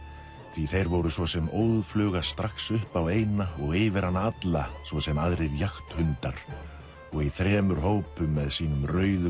því þeir voru svo sem óð fluga strax upp á eyna og yfir hana alla svo sem aðrir jagthundar og í þremur hópum með sínum rauðu